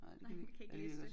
Nej kan ikke læse det